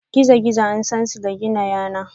gizo-gizo an San su da gina yanar.